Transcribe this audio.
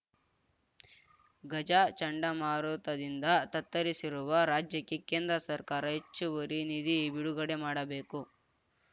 ಗಜ ಚಂಡಮಾರುತದಿಂದ ತತ್ತರಿಸಿರುವ ರಾಜ್ಯಕ್ಕೆ ಕೇಂದ್ರ ಸರ್ಕಾರ ಹೆಚ್ಚುವರಿ ನಿಧಿ ಬಿಡುಗಡೆ ಮಾಡಬೇಕು